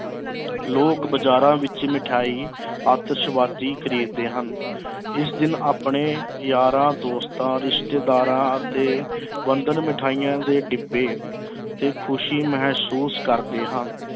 ਲੋਕ ਬਾਜ਼ਾਰਾਂ ਵਿੱਚ ਮਠਿਆਈ ਆਤਿਸ਼ਬਾਜੀ ਖਰੀਦਦੇ ਹਨ ਇਸ ਦਿਨ ਆਪਣੇ ਯਾਰਾਂ-ਦੋਸਤਾਂ, ਰਿਸ਼ਤੇਦਾਰਾਂ ਅਤੇ ਬੰਧਨ ਮਿਠਾਈਆਂ ਦੇ ਡਿੱਬੇ ਤੇ ਖੁਸ਼ੀ ਮਹਿਸੂਸ ਕਰਦੇ ਹਨ।